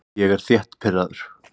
Ég er þétt pirraður.